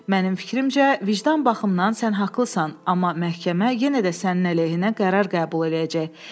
Mənim fikrimcə, vicdan baxımdan sən haqlısan, amma məhkəmə yenə də sənin əleyhinə qərar qəbul eləyəcək.